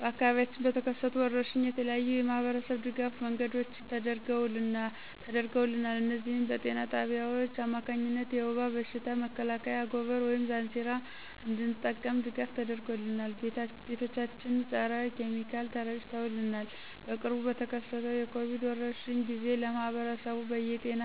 በአካባቢያችን በተከሰቱ ወረርሽኝ የተለያዩ የማህበረሰብ ድጋፍ መንገዶች ተደርገውልናል እነዚህም በጤና ጣቢያዎች አማካኝነት የውባ በሽታ መከላከያ አጎበር ወይም ዛንዚራ እንድንጠቀም ድጋፍ ተደርጎልናል። ቤቶቻችን ፀረ ኪሚካል ተረጭተውልናል። በቅርቡ በተከሰተው የኮቪድ ወረርሽኝ ጊዜ ለማህብረሰቡ በየ ጤና